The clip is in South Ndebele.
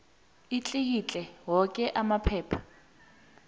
atlikitle woke amaphepha